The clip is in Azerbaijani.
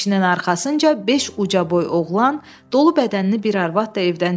Kişinin arxasınca beş ucaboy oğlan, dolu bədənli bir arvad da evdən çıxdı.